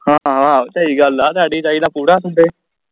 ਹਾਂ ਸਹੀ ਗੱਲ ਆ ਸਾਡੀ ਦਾ ਪੂਰਾ ਤੂੰ ਤੇ